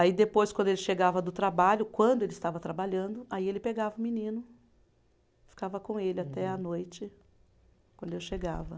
Aí depois, quando ele chegava do trabalho, quando ele estava trabalhando, aí ele pegava o menino, ficava com ele até a noite, quando eu chegava.